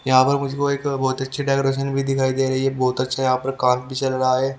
यहां पर मुझको एक बहुत अच्छी डेकोरेशन भी दिखाई दे रही है बहुत अच्छा यहां पर काम भी चल रहा है।